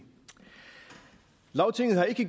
lagtinget har ikke